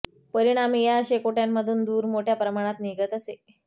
परिणामी या शेकोट्यांमधून धूर मोठ्या प्रमाणात निघत असे